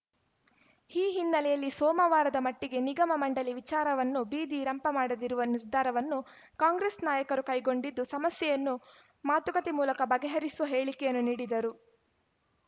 ಈ ಹಿನ್ನೆಲೆಯಲ್ಲಿ ಸೋಮವಾರದ ಮಟ್ಟಿಗೆ ನಿಗಮಮಂಡಳಿ ವಿಚಾರವನ್ನು ಬೀದಿ ರಂಪ ಮಾಡದಿರುವ ನಿರ್ಧಾರವನ್ನು ಕಾಂಗ್ರೆಸ್‌ ನಾಯಕರು ಕೈಗೊಂಡಿದ್ದು ಸಮಸ್ಯೆಯನ್ನು ಮಾತುಕತೆ ಮೂಲಕ ಬಗೆಹರಿಸುವ ಹೇಳಿಕೆಯನ್ನು ನೀಡಿದರು